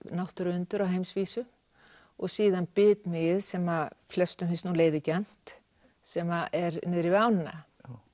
náttúruundur á heimsvísu og síðan bitmýið sem að flestum finnst nú leiðigjarnt sem er niðri við ána